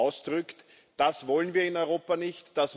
ausdrückt. Das wollen wir in Europa nicht.